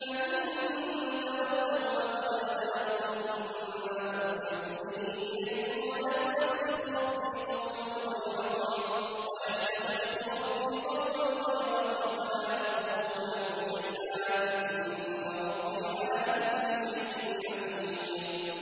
فَإِن تَوَلَّوْا فَقَدْ أَبْلَغْتُكُم مَّا أُرْسِلْتُ بِهِ إِلَيْكُمْ ۚ وَيَسْتَخْلِفُ رَبِّي قَوْمًا غَيْرَكُمْ وَلَا تَضُرُّونَهُ شَيْئًا ۚ إِنَّ رَبِّي عَلَىٰ كُلِّ شَيْءٍ حَفِيظٌ